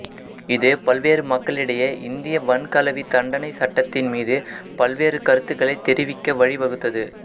இது பல்வேறு மக்களிடையே இந்திய வன்கலவி தண்டனைச் சட்டத்தின் மீது பல்வேறு கருத்துக்களைத் தெரிவிக்க வழிவகுத்தது